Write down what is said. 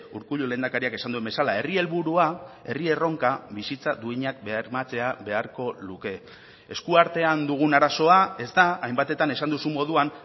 urkullu lehendakariak esan duen bezala herri helburua herri erronka bizitza duinak bermatzea beharko luke eskuartean dugun arazoa ez da hainbatetan esan duzun moduan